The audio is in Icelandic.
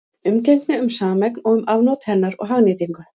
Umgengni um sameign og um afnot hennar og hagnýtingu.